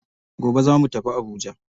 Gobe zamu tafi habuja.